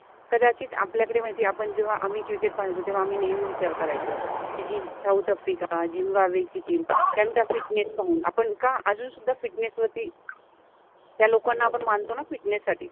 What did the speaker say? कदाचित आपल्याकडे माहिति आहे आपण जेव्हा आम्हि क्रिकेट {cricket} पाहायचो तेव्हा आम्हि नेहमि विचार करायचो कि जि साउथ आफ्रिका, जिम्बॉम्बे चि टिम फिटनेस {fitness} पाहुन आपण का अजुनसुद्धा फिटनेस {fitness} वरति, त्या लोकाना आपण मानतो न फिटनेस {fitness} साठि